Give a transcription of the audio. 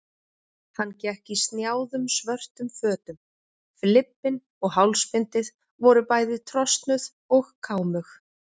Hann gekk í snjáðum svörtum fötum, flibbinn og hálsbindið voru bæði trosnuð og kámug.